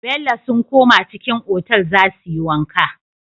Bello sun koma cikin otal zasuyi wanka